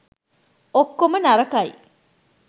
ඔක්කොම නරකයි